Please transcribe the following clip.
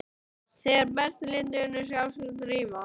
Þegar best lét urðu áskrifendur ríflega